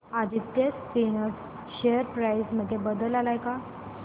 Aditya Spinners share price मध्ये बदल आलाय का